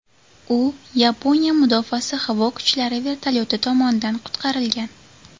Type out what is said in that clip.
U Yaponiya mudofaasi havo kuchlari vertolyoti tomonidan qutqarilgan.